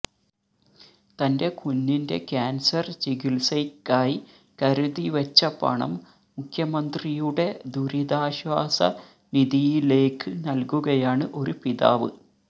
തന്റെ കുഞ്ഞിന്റെ കാന്സര് ചികിത്സയ്ക്കായി കരുതിവെച്ച പണം മുഖ്യമന്ത്രിയുടെ ദുരിതാശ്വാസ നിധിയിലേക്ക് നല്കുകയാണ് ഒരു പിതാവ്